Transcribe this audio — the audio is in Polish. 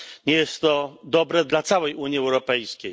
Nie jest to dobre dla całej Unii Europejskiej.